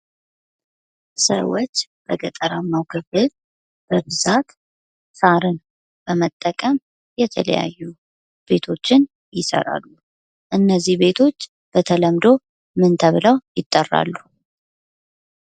ሰዎች በገጠራማው ክፍል በብዛት ሳርን በመጠቀም የተለያዩ ቤቶችን ይሰራሉ። እነዚህ ቤቶች በተለምዶ ምን ተብለው ይጠራሉ?